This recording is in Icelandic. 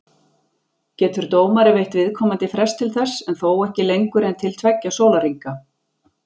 Getur dómari veitt viðkomandi frest til þess, en þó ekki lengur en til tveggja sólarhringa.